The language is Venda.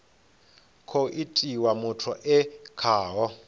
khou itiwa muthu e khaho